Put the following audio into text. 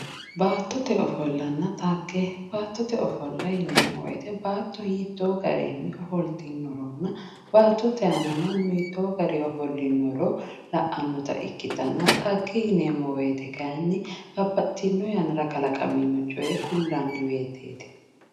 baattote ofollanna xagge baattote ofolla yineemo woyite baatto hitoo garinni ofoltinoronna baattote aana mannu hitoo garii offolinoro la"anota ikkitanna xagge yineemo woyiite kaayiini babbaxitinno yannara kalaqamino coye kullanni woyiiteeti